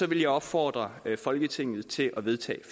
vil jeg opfordre folketinget til at vedtage